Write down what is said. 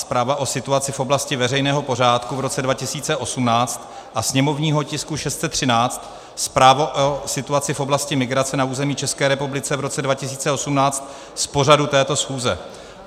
Zpráva o situaci v oblasti veřejného pořádku v roce 2018, a sněmovního tisku 613 - Zpráva o situaci v oblasti migrace na území České republiky v roce 2018 z pořadu této schůze.